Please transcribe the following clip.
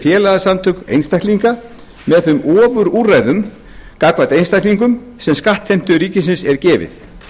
félagasamtök einstaklinga með þeim ofurúrræðum gagnvart einstaklingum sem skattheimtu ríkisins er gefið